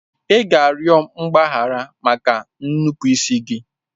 Ị ga-arịọ mgbaghara maka nnupụisi gị.